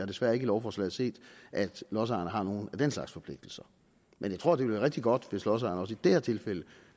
desværre ikke i lovforslaget set at lodsejerne har nogen af den slags forpligtelser men jeg tror at det vil være rigtig godt hvis lodsejerne også i det her tilfælde